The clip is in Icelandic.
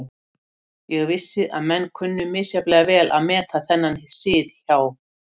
Ég vissi að menn kunnu misjafnlega vel að meta þennan sið hjá